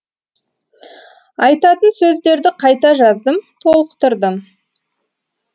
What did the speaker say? айтатын сөздерді қайта жаздым толықтырдым